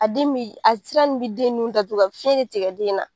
A den me ye a sira in be den nun datugu a be fiɲɛ de tigɛ den na